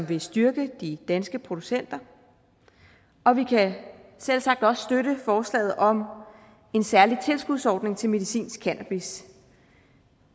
vil styrke de danske producenter og vi kan selv sagt også støtte forslaget om en særlig tilskudsordning til medicinsk cannabis